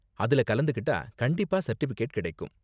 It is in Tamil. அதுல கலந்துக்கிட்டா கண்டிப்பா சர்டிபிகேட் கிடைக்கும்.